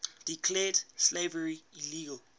declared slavery illegal